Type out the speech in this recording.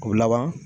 O laban